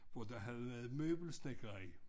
Og der havde været møbelsnedker i